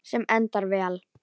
Sem endar vel.